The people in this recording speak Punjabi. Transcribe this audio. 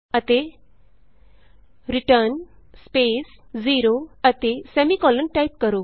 ਅਤੇ ਰਿਟਰਨ ਸਪੇਸ 0 ਅਤੇ ਸੈਮੀਕੋਲਨ ਟਾਈਪ ਕਰੋ